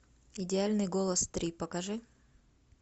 идеальный голос три покажи